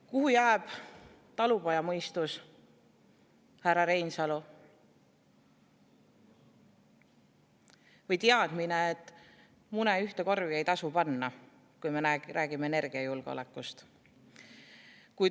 Kuhu jääb talupojamõistus, härra Reinsalu, või teadmine, et mune ei tasu ühte korvi panna, kui me räägime energiajulgeolekust?